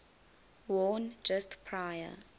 worn just prior